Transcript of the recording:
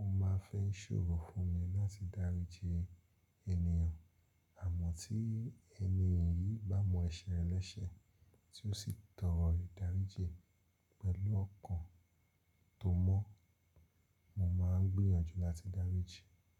ó máa fẹ́ ṣòro fún mi láti daríji ènìyàn. Àmọ́ tí ẹni iyì bá mọ ẹsẹ̀ rẹ̀ lẹ́sẹ̀ tí ó sì tọrọ ìdáríji pẹ̀lú ọkàn tó mọ́, mo máa ń gbìyànjú láti daríji.